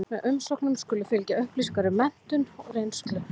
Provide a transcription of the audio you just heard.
Með umsóknum skulu fylgja upplýsingar um menntun og reynslu.